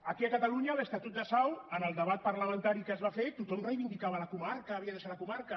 aquí a catalunya a l’estatut de sau en el debat parlamentari que es va fer tothom reivindicava la comarca havia de ser la comarca